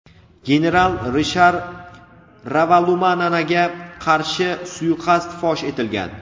general Rishar Ravalumananaga qarshi suiqasd fosh etilgan.